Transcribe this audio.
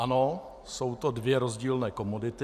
Ano, jsou to dvě rozdílné komodity.